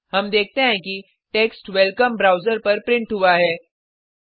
हम देखते हैं कि टेक्स्ट वेलकम ब्राउज़र पर प्रिंट हुआ है